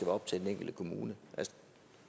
op til den enkelte kommune